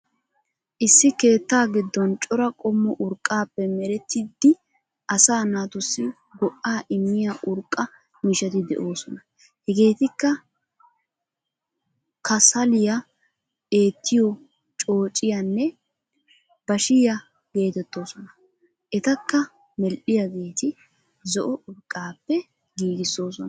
Issi keetta giiddon cora qoommo urqqaappe meeretidi asaa naatuusi goo"aa immiya urqqa miishshaati de"oosona. Heegetikka kaasaliyan eettiyo coocciyanne baashshiya geetettosona. Etakka meedhdhiyaageeti zo"o urqqappe giigisoosona.